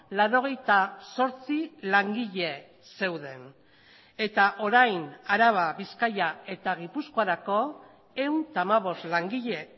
laurogeita zortzi langile zeuden eta orain araba bizkaia eta gipuzkoarako ehun eta hamabost langile